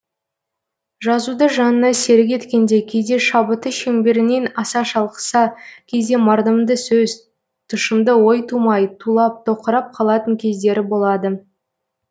жазуды жанына серік еткенде кейде шабыты шеңберінен аса шалқыса кейде мардымды сөз тұшымды ой тумай тулап тоқырап қалатын кездері болады